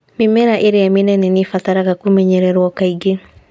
Mĩmera ĩrĩa mĩnene nĩ ĩbataraga kũmenyererio kaingĩ